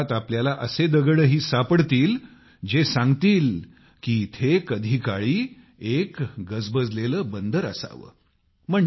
या गावात तुम्हाला असे दगडही सापडतील जे सांगतील की इथे कधीकाळी एक गजबजलेले बंदर असावे